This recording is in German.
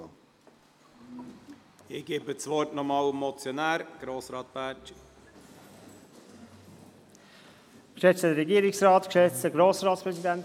Ich erteile nochmals dem Motionär, Grossrat Bärtschi, das Wort.